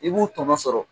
I b'u tɔnɔ sɔrɔ